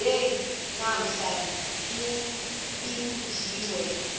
nje namhla nibingiwe